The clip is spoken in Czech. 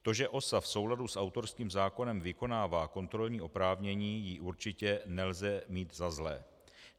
To, že OSA v souladu s autorským zákonem vykonává kontrolní oprávnění, jí určitě nelze mít za zlé.